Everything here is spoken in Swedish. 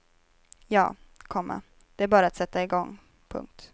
Ja, komma det är bara att sätta i gång. punkt